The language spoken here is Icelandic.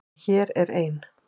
En hér er ein.